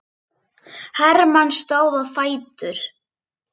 Hermann stóð á fætur.